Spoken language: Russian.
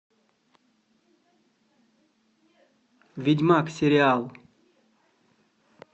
ведьмак сериал